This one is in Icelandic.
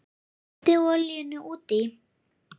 Bætið olíunni út í.